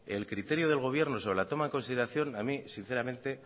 el criterio del gobierno sobre la toma en consideración a mí sinceramente